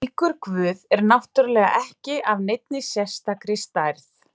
Slíkur guð er náttúrulega ekki af neinni sérstakri stærð.